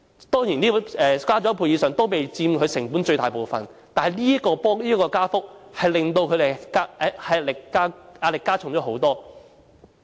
當然，租金增加一倍以上也非佔他們成本的最大部分，但是這個加幅為他們加添不少壓力。